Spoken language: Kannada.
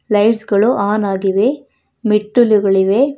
ಲೈಟ್ಸ ಗಳು ಆನ್ ಆಗಿವೆ ಮೇಟ್ಟಲುಗಳಿವೆ.